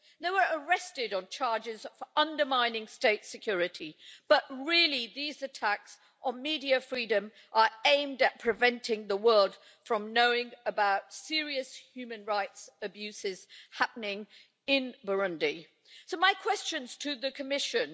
They were arrested on charges of undermining state security, but really these attacks on media freedom are aimed at preventing the world from knowing about serious human rights abuses happening in Burundi. So, my questions to the Commission.